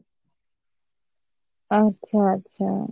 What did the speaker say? আচ্ছা আচ্ছা